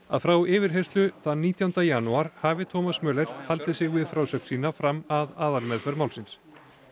að frá yfirheyrslu þann nítjánda janúar hafi Thomas Möller haldið sig við frásögn sína fram að aðalmeðferð málsins